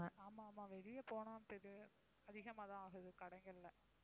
ஆமா, ஆமா வெளிய போனா அதிகமாகதான் ஆகுது கடைகள்ல